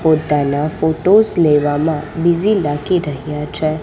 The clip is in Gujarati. પોતાના ફોટોસ લેવામાં બિઝી લાગી રહ્યા છે.